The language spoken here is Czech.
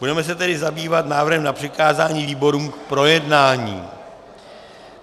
Budeme se tedy zabývat návrhem na přikázání výborům k projednání.